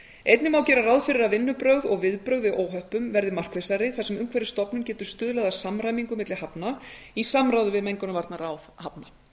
einnig má gera ráð fyrir að vinnubrögð og viðbrögð við óhöppum verði markvissari þar sem umhverfisstofnun getur stuðlað að samræmingu milli hafna í samráði við mengunarvarnaráð hafna